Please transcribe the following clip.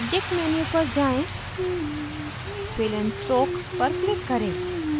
object menu पर जाएँ fill and stroke पर क्लिक करें